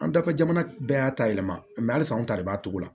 An dafɛ jamana bɛɛ y'a ta yɛlɛma mɛ halisa anw ta de b'a to la